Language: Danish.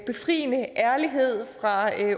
befriende ærlighed fra